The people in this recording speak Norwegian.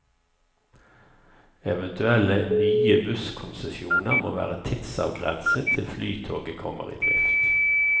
Eventuelle nye busskonsesjoner må være tidsavgrenset til flytoget kommer i drift.